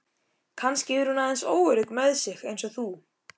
Kannski er hún aðeins óörugg með sig eins og þú.